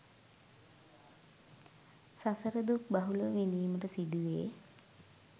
සසර දුක් බහුලව විඳීමට සිදුවේ.